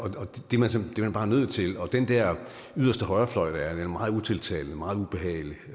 det er man bare nødt til og den der yderste højrefløj er jo meget utiltalende meget ubehagelig